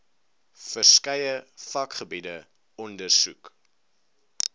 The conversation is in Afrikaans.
verskeie vakgebiede ondersoek